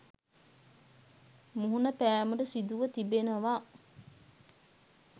මුහුණ පෑමට සිදුව තිබෙනවා.